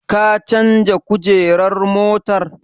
Ka canja kujerar motar?